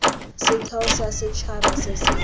setheo sa setšhaba se se